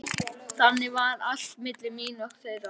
Þannig var allt milli mín og þeirra.